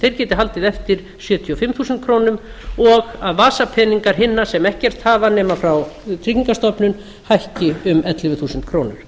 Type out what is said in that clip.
þeir geti haldið eftir sjötíu og fimm þúsund krónur og að vasapeningar hinna sem ekkert hafa nema frá tryggingastofnun hækki um ellefu þúsund krónur